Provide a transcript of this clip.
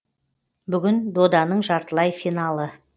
бүгін доданың жартылай финалы